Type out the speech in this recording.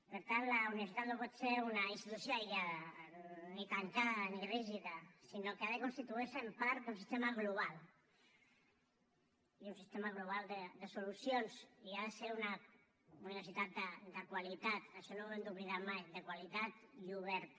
per tant la universitat no pot ser una institució aïllada ni tancada ni rígida sinó que ha de constituir se en part d’un sistema global i un sistema global de solucions i ha de ser una universitat de qualitat això no ho hem d’oblidar mai de qualitat i oberta